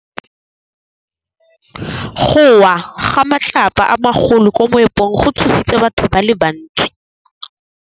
Go wa ga matlapa a magolo ko moepong go tshositse batho ba le bantsi.